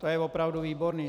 To je opravdu výborné!